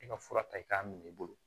E ka fura ta i k'a minɛ i bolo